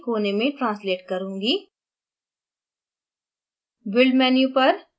मैं isoprene को एक कोने में translate करुँगी